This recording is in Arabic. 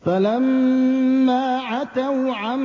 فَلَمَّا عَتَوْا عَن